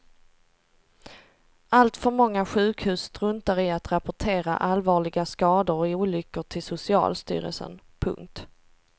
Alltför många sjukhus struntar i att rapportera allvarliga skador och olyckor till socialstyrelsen. punkt